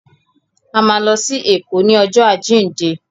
A má lọ sí Èkó ní ọjọ́ àjíǹde.